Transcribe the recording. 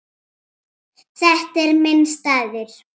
Þetta er minn staður.